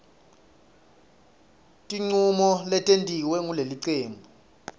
tincomo letentiwe ngulelicembu